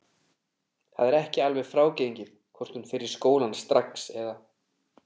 Það er ekki alveg frágengið hvort hún fer í skólann strax eða.